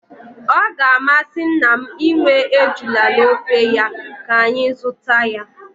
Ọ ga-amasị nna m inwe ejula n'ofe ya, ka anyị zụta ya